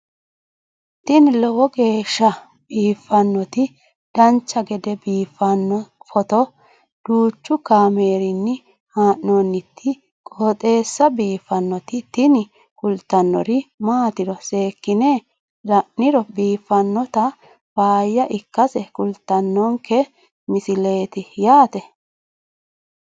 tini lowo geeshsha biiffannoti dancha gede biiffanno footo danchu kaameerinni haa'noonniti qooxeessa biiffannoti tini kultannori maatiro seekkine la'niro biiffannota faayya ikkase kultannoke misileeti yaate